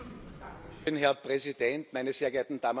Herr Präsident, meine sehr geehrten Damen und Herren!